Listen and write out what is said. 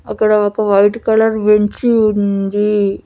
అక్కడ ఒక white colour bench ఉంది.